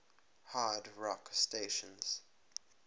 hard rock stations